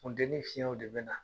Funtenin fiyɛnw de bina